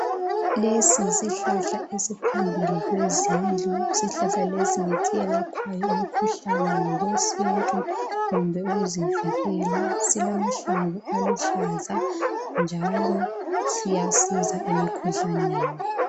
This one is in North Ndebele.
Lesi yisihlahla esiphambili kwezindlu isihlahla lesi ngesiyelaphayo imikhuhlane ngokwesintu kumbe ukuzivikela silamahlamvu aluhlaza njalo siyasiza emikhuhlaneni.